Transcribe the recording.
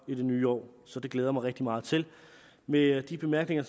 i det nye år så det glæder jeg mig rigtig meget til med de bemærkninger